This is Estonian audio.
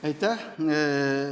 Aitäh!